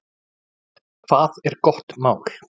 Hvað er gott mál?